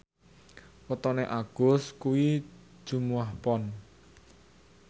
wetone Agus kuwi Jumuwah Pon